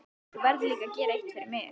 Þú verður líka að gera eitt fyrir mig.